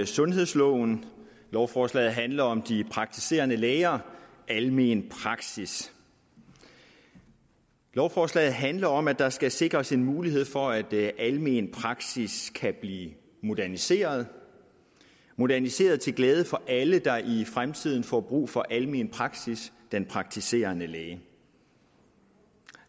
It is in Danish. sundhedsloven lovforslaget handler om de praktiserende læger almen praksis lovforslaget handler om at der skal sikres en mulighed for at almen praksis kan blive moderniseret moderniseret til glæde for alle der i fremtiden får brug for almen praksis den praktiserende læge